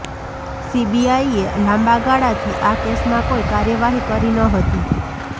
સીબીઆઇએ લાંબાગાળાથી આ કેસમાં કોઇ કાર્યવાહી કરી ન હતી